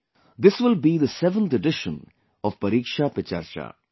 This will be the 7th edition of 'Pariksha Pe Charcha'